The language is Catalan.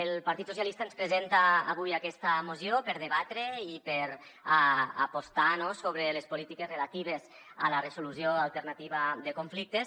el partit socialistes ens presenta avui aquesta moció per debatre i per apostar sobre les polítiques relatives a la resolució alternativa de conflictes